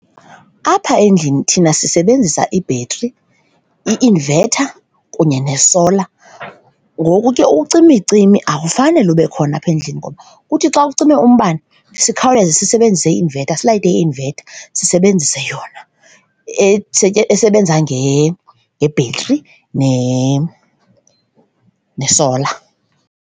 Apha endlini thina sisebenzisa ibhetri, i-inverter kunye nesola, ngoku ke ucimicimi akufanele ube khona apha endlini. Ngoba kuthi xa kucime umbane sikhawuleze sisebenzise i-inverter, siyilayite i-inverter sisebenzise yona esebenza ngebhetri nesola.